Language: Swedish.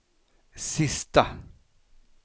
sista